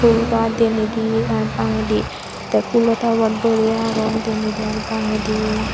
pool gach denendi ar bagendi tey pulo topod boreye agon denedi ar bangendi.